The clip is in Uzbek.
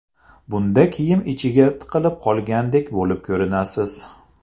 Bunda kiyim ichiga tiqilib qolgandek bo‘lib ko‘rinasiz.